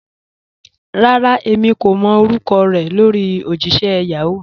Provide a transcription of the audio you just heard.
Rárá, èmi kò mọ́ orúkọ̀ rẹ lórí ojìṣẹ̀ Yahoo.